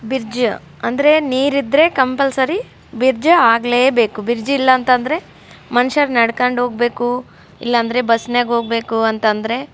bridge ಅಂದ್ರೆ ನೀರ್ ಇದ್ರೆ ಕಂಪಲ್ಸರಿ ಬ್ರಿಡ್ಜ್ ಆಗಲೇಬೇಕು ಬ್ರಿಡ್ಜ್ ಇಲ್ಲಾಂದ್ರೆ ಮನುಷ್ಯರು ನಡ್ಕೊಂಡು ಹೋಗ್ಬೇಕು ಇಲ್ಲಾಂದ್ರೆ ಬಸ್ನಾಗೆ ಹೋಗ್ಬೇಕು ಅಂತ ಅಂದ್ರೆ--